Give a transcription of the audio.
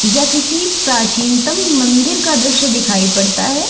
यह किसी प्राचीनतम मंदिर का दृश्य दिखाई पड़ता है।